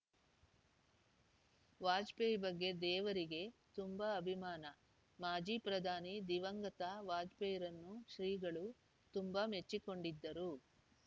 ವಾಜಪೇಯಿ ಬಗ್ಗೆ ದೇವರಿಗೆ ತುಂಬ ಅಭಿಮಾನ ಮಾಜಿ ಪ್ರಧಾನಿ ದಿವಂಗತ ವಾಜಪೇಯಿರನ್ನು ಶ್ರೀಗಳು ತಂಬಾ ಮೆಚ್ಚಿ ಕೊಂಡಿದ್ದರು